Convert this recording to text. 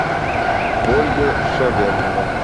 ольга шавернева